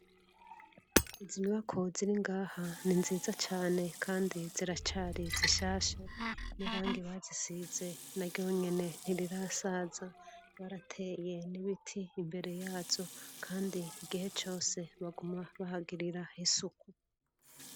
izi nyubako ziri ngaha ni nziza cane kandi ziracari zishasha nirangi bazisize na ryonyene ntirirasaza barateye nibiti imbere yazo kandi igihe cose baguma bahagirira isuku